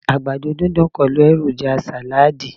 àgbàdo didun pẹlu eroja salad